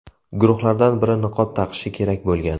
Guruhlardan biri niqob taqishi kerak bo‘lgan.